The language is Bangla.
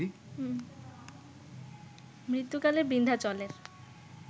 মৃত্যুকালে বিন্ধ্যাচলের